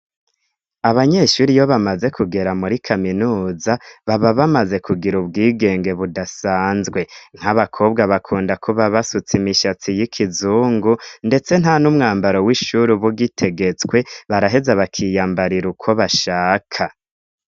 Abanyeshure iyo bamaze kugera muri kaminuza baba bamaze kugira ubwigenge budasanzwe. Nk'abakobwa bakunda kuba basutse imishatsi y'ikizungu ndetse nta n'umwambaro w'ishure uba ugitegetswe baraheze bakiyambarira uko bashaka.